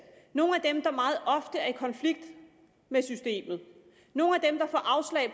nogle af dem der meget ofte er i konflikt med systemet nogle